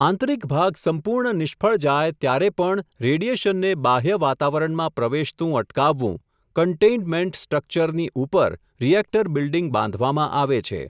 આંતરીક ભાગ સંપૂર્ણ નિષ્ફળ જાય, ત્યારે પણ રેડિયેશનને બાહ્ય વાતાવરણમાં પ્રવેશતું અટકાવવું, કંન્ટેઈનમેન્ટ સ્ટ્રકચર ની ઉપર, રિએકટર બિલ્ડીંગ બાંધવામાં આવે છે.